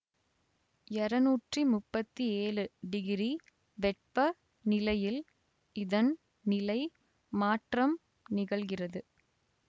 இரனுற்றிமுப்பத்தியேலு degree வெப்ப நிலையில் இதன் நிலை மாற்றம் நிகழ்கிறது